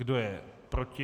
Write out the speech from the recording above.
Kdo je proti?